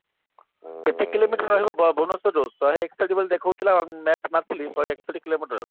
କେତେ କିଲୋମିଟର ରହିବ ବ ଭୁବନେଶ୍ବର ରୁ ଶହେ ଏକଷଠି କିଲୋମିଟର ଦେଖୋଉ ଥିଲା map ରେ ମାପିଥିଲେ ଶହେ ଏକଷଠି କିଲୋମିଟର